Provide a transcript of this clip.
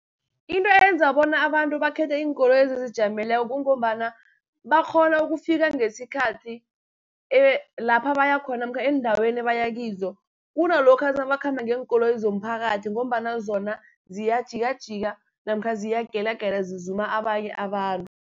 Into eyenza bona abantu bakhethe iinkoloyi ezizijameleko kungombana, bakghona ukufika ngesikhathi lapha baya khona, namkha eendaweni ebaya kizo, kunalokha nabakhamba ngeenkoloyi zomphakathi, ngombana zona ziyajikajika, namkha ziyagelagela zizuma abanye abantu.